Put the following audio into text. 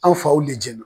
An faw le jenna